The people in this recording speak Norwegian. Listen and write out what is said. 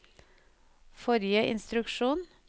forrige instruksjon